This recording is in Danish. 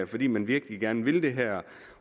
fordi man virkelig gerne vil det her